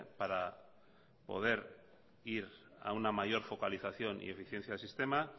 para poder ir a una mayor focalización y eficiencia del sistema